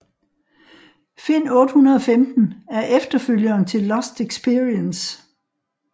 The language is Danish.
Find 815 er efterfølgeren til Lost Experience